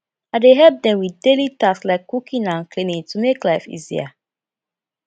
i dey help dem with daily tasks like cooking and cleaning to make life easier